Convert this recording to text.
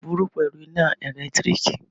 Irin burú pẹ̀lú iná ẹ̀lẹ́tíríkì.